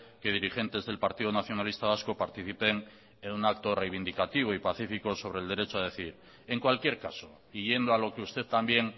que dirigentes del partido nacionalista vasco participen en un acto reivindicativo y pacífico sobre el derecho a decidir en cualquier caso y yendo a lo que usted también